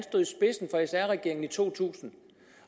en i to tusind